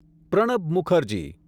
Pranab Mukherjee